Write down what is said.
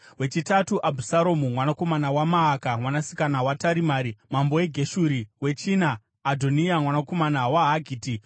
wechitatu, Abhusaromu mwanakomana waMaaka mwanasikana waTarimai mambo weGeshuri; wechina, Adhoniya mwanakomana waHagiti,